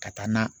Ka taa n'a ye